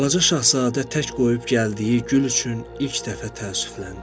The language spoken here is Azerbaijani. Balaca Şahzadə tək qoyub gəldiyi gül üçün ilk dəfə təəssüfləndi.